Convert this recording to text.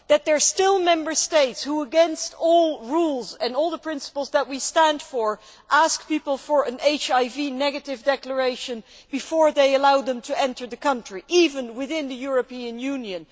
Or that there are still Member States which, against all the rules and all the principles that we stand for, ask people for an HIV negative declaration before they allow them to enter the country, even within the European Union.